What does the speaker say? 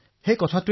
প্ৰধানমন্ত্ৰীঃ বাহ